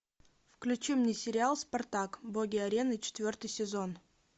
включи мне сериал спартак боги арены четвертый сезон